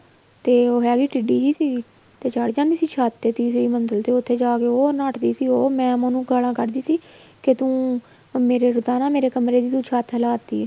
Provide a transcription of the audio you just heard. ਤੇ ਹੈ ਵੀ ਉਹ ਟਿੱਡੀ ਜੀ ਸੀ ਤੇ ਚੱੜ ਜਾਂਦੀ ਸੀ ਛੱਤ ਤੇ ਤੀਸਰੀ ਮੰਜਿਲ ਤੇ ਉੱਥੇ ਜਾਕੇ ਉਹ ਨੱਠਦੀ ਸੀ ਉਹ mam ਉਹਨੂੰ ਗਾਲਾਂ ਕੱਢਦੀ ਸੀ ਕੇ ਤੂੰ ਮੇਰੇ ਤਾਂ ਮੇਰੇ ਕਮਰੇ ਦੀ ਤੂੰ ਛੱਤ ਹਿਲਾ ਤੀ ਏ